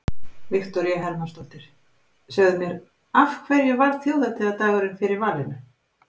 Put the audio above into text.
Viktoría Hermannsdóttir: Segðu mér af hverju varð þjóðhátíðardagurinn fyrir valinu?